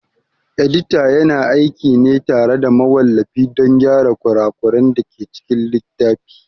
Edita yana aiki ne tare da mawallafi don gyara kura kuran dake cikin littafi